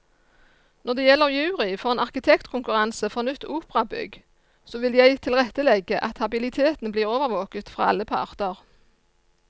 Når det gjelder jury for en arkitektkonkurranse for nytt operabygg, så vil jeg tilrettelegge at habiliteten blir overvåket fra aller parter.